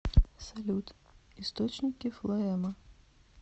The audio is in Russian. салют источники флоэма